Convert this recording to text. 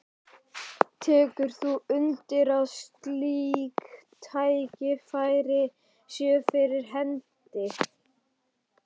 Tekur þú undir að slík tækifæri séu fyrir hendi?